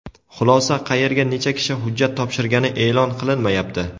Xulosa: qayerga necha kishi hujjat topshirgani e’lon qilinmayapti.